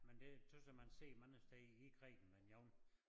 Men det tøs jeg man ser mange steder i Grækenland jeg var